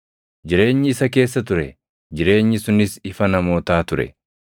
Jireenyi isa keessa ture; jireenyi sunis ifa namootaa ture.